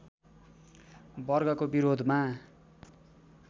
वर्गको विरोधमा